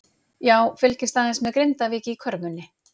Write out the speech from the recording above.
Já fylgist aðeins með Grindavík í körfunni.